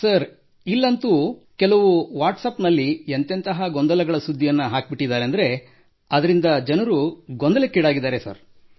sir ಇಲ್ಲಂತೂ ಕೆಲವರು ಕೆಲವು ವಾಟ್ಸಾಪ್ ಗಳಲ್ಲಿ ಎಂತೆಂತಹ ಗೊಂದಲಗಳ ಸುದ್ದಿಯನ್ನು ಹಾಕಿಬಿಟ್ಟಿದ್ದಾರೆಂದರೆ ಅದರಿಂದ ಜನರು ಗೊಂದಲಕ್ಕೊಳಗಾಗಿದ್ದಾರೆ ಸರ್